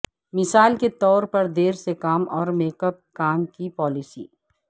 مثال کے طور پر دیر سے کام اور میک اپ کام کی پالیسی